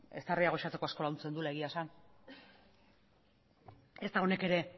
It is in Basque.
eztarria gozatzeko asko laguntzen duela egia esan ezta honek ere